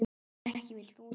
Ekki vilt þú það?